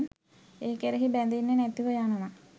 ඒ කෙරෙහි බැඳෙන්නෙ නැතිව යනවා.